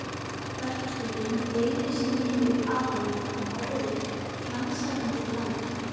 Verkstjórinn beygði sig niður að honum og horfði rannsakandi framan í hann.